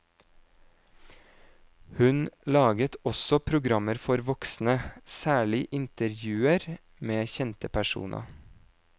Hun laget også programmer for voksne, særlig intervjuer med kjente personer.